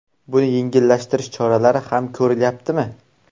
Buni yengillashtirish choralari ham ko‘rilyaptimi?